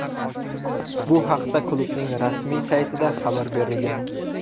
Bu haqda klubning rasmiy saytida xabar berilgan .